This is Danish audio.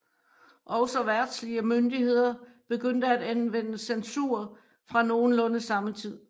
Også verdslige myndigheder begyndte at anvende censur fra nogenlunde samme tid